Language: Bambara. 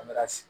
An bɛ ka sigi